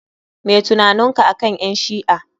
Meh tunaninka akan ƴan shi'a?